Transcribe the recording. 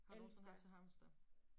Har du nogensinde haft et hamster?